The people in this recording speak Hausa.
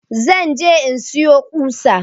Zan je in siyo ƙusa